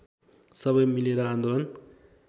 सबै मिलेर आन्दोलन